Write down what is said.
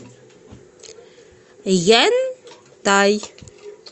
яньтай